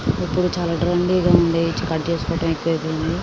ఇప్పుడు చాలా ట్రెండీ గా ఉంది కట్ చేసుకోవటం ఎక్కువైపోయింది.